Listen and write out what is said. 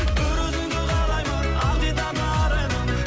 бір өзіңді қалаймын ақ дидарлы арайлым